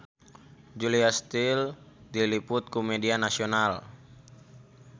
Julia Stiles diliput ku media nasional